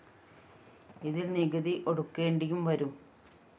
ഇതില്‍ നികുതി ഒടുക്കേണ്ടിയും വരും